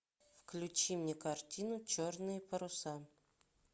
включи мне картину черные паруса